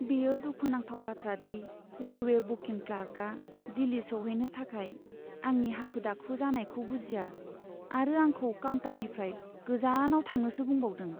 बेयो दुखुनांथाव बाथ्रादि रेलवे बुकिं क्लार्कआ दिल्ली सौहैनो थाखाय आंनि हाखु दाखु जानायखौ बुजिया आरो आंखौ काउन्टारनिफ्राय गोजानाव थांनोसो बुंबावदों।